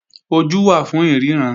Ojú wà fún ìríran